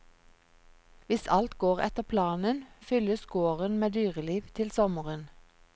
Hvis alt går etter planen, fylles gården med dyreliv til sommeren.